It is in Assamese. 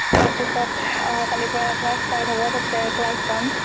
তাৰ পিছত অহা কালিৰ পৰা class start হব তাতে, class যাম ।